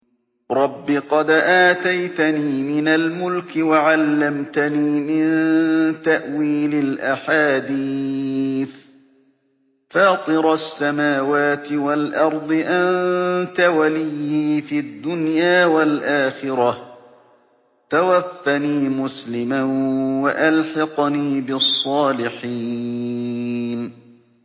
۞ رَبِّ قَدْ آتَيْتَنِي مِنَ الْمُلْكِ وَعَلَّمْتَنِي مِن تَأْوِيلِ الْأَحَادِيثِ ۚ فَاطِرَ السَّمَاوَاتِ وَالْأَرْضِ أَنتَ وَلِيِّي فِي الدُّنْيَا وَالْآخِرَةِ ۖ تَوَفَّنِي مُسْلِمًا وَأَلْحِقْنِي بِالصَّالِحِينَ